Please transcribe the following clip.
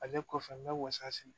Ale kɔfɛ n bɛ wasa mi sigi